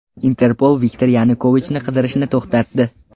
Interpol Viktor Yanukovichni qidirishni to‘xtatdi.